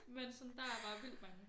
Men sådan der er bare vildt mange